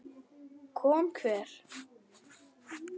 Kom hver?